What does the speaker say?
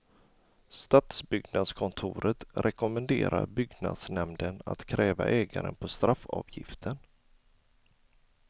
Stadsbyggnadskontoret rekommenderar byggnadsnämnden att kräva ägaren på straffavgiften.